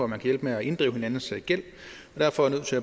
man kan hjælpe med at inddrive hinandens gæld og derfor er nødt til